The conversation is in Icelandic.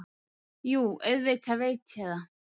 Jú, auðvitað veit ég það.